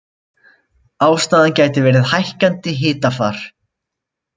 Ástæðan gæti verið hækkandi hitafar